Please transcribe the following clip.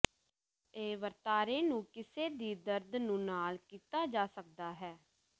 ਇਹ ਵਰਤਾਰੇ ਨੂੰ ਕਿਸੇ ਵੀ ਦਰਦ ਨੂੰ ਨਾਲ ਕੀਤਾ ਜਾ ਸਕਦਾ ਹੈ